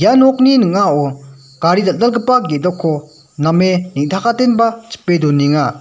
nokni ning·ao gari dal·dalgipa gedokko name neng·takatenba chipe donenga.